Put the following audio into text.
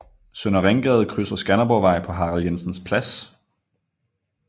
Søndre Ringgade krydser Skanderborgvej på Harald Jensens Plads